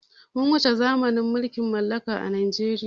Mun wuce zamanin mulkin mallaka a najeriya